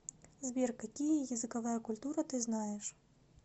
сбер какие языковая культура ты знаешь